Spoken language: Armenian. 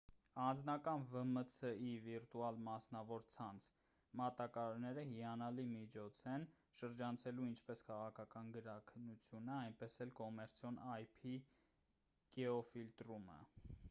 անձնական վմց-ի վիրտուալ մասնավոր ցանց մատակարարները հիանալի միջոց են՝ շրջանցելու ինչպես քաղաքական գրաքննությունը այնպես էլ կոմերցիոն ip գեոֆիլտրումը: